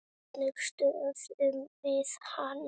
Hvernig stöðvum við hann?